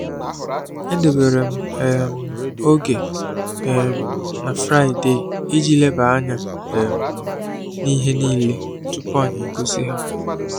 Edebere m um oge um na fraịdeeiji leba anya um n’ihe niile tupu anyị gosi ha.